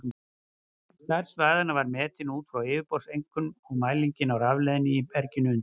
Stærð svæðanna var metin út frá yfirborðseinkennum og mælingum á rafleiðni í berginu undir.